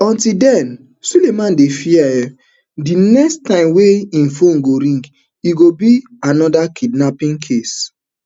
until den sulaiman dey fear um di next time wey im phone go ring e go be anoda kidnapping case